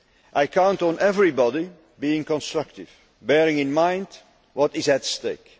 I count on everybody to be constructive, bearing in mind what is at stake.